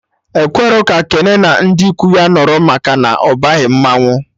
Ekwerọ ka Kene na ndị ikwu ya nọrọ maka na ọ baghị mmanwụ